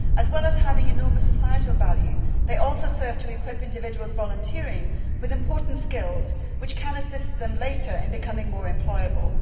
As well as having enormous societal value, they also serve to equip individuals volunteering with important skills which can assist them later in becoming more employable.